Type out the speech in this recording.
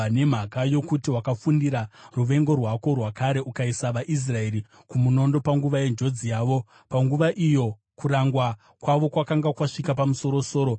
“ ‘Nemhaka yokuti wakafundira ruvengo rwako rwakare ukaisa vaIsraeri kumunondo panguva yenjodzi yavo, panguva iyo kurangwa kwavo kwakanga kwasvika pamusoro-soro,